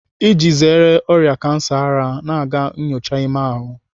Iji zere ọrịa kansa ara, na-aga nnyocha ime ahụ.